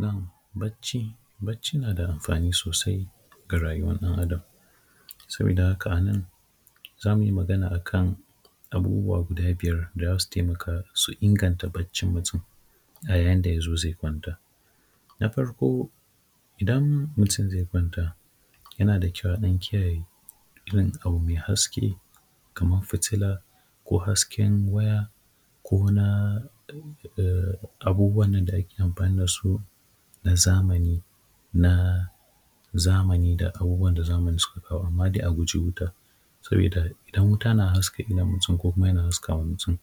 Na’am bacci bacci yana da amfani sosai a rayuwan ɗan adam, saboda haka a nan zamu yi magana a kan abubuwa guda biyar da zasu taimaka su inganta baccin mutum a yayin da yazo zai kwanta, na farko idan mutum zai kwanta yana da kyau a dan kiyaye irin abu mai haske kamar fitila ko hasken waya ko na abubuwan da ake amfani da su na zamani na zamani da abubuwan da zamani suka kawo amma dai a guji wuta saboda idan wuta na haska idon mutum ko yana haska mutum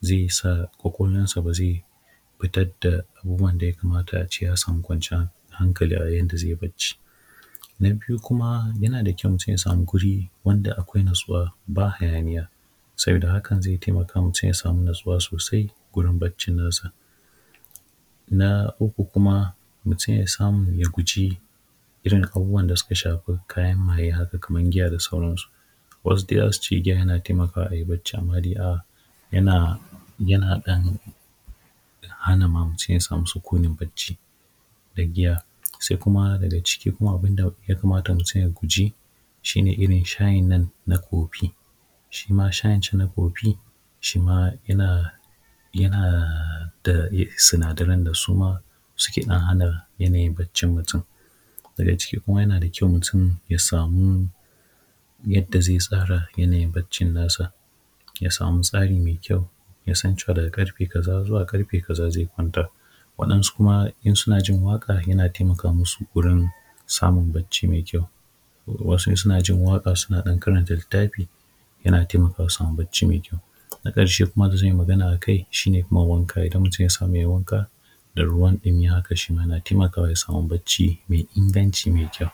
zai sa kwakwalwan sa ba zai fitar da abubuwan da ya kamata ace ya samu kwanciyar hankali a yayin da zai bacci, na biyu kuma yana da kyau mutum ya samu guri wanda akwai natsuwa ba hayaniya saboda haka zai taimaka mutum ya samu natsuwa sosai wurin bacci nasa, na uku kuma mutum ya samu ya guji irin abubuwan da suka shafi kayan maye haka kamar giya da sauran su, worse giya yana taimaka ayi bacci amma dai yana ɗan hana mutum ya samu sukunin bacci da giya, sai kuma daga ciki abun da ya kamata ya guji shi ne irin shayin nan na koffi, shi ma shayin can na koffi shima yana da sinadaran da suma suke ɗan hana yanayin baccin mutum, daga ciki kuma yana da kyau mutum ya samu yadda zai tsara yanayin baccin nasa ya samu tsari mai kyau, ya san cewa daga karfe kaza zuwa karfe kaza zai kwanta waɗansu kuma idan suna jin waƙa zai taimaka masu wurin samun bacci mai kyau, wasu in suna jin waƙa suna ɗan karanta littafi yana taimakawa a samu bacci mai ɗan kyau, na karshe da zany i Magana akai shi ne wanka idan mutum ya samu yayi wanka da ruwan ɗumi haka shima yana taimakawa ya samu bacci mai inganci mai kyau.